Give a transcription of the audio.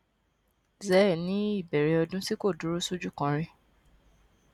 zse ní ìbẹrẹ ọdún tí kò dúró sójú kan rí